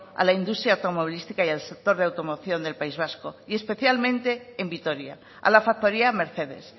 a la industria automovilística y el sector de automoción del país vasco y especialmente en vitoria a la factoría mercedes